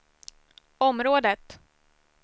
området